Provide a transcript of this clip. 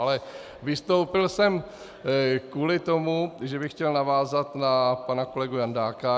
Ale vystoupil jsem kvůli tomu, že bych chtěl navázat na pana kolegu Jandáka.